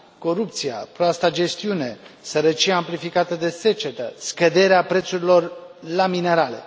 Corupția, proasta gestiune, sărăcia amplificată de secetă, scăderea prețurilor la minerale.